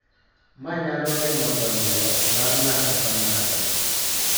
Ma nyalo geng�o dongruok mar ng�ato ka ng�ato